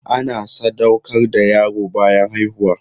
Ana sadaukar da yaro bayan haihuwa.